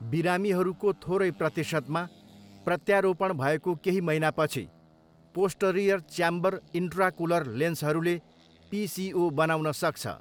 बिरामीहरूको थोरै प्रतिशतमा, प्रत्यारोपण भएको केही महिनापछि पोस्टरियर च्याम्बर इन्ट्राकुलर लेन्सहरूले पिसिओ बनाउन सक्छ।